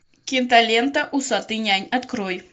кинолента усатый нянь открой